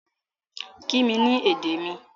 Kí mi ní èdè mi!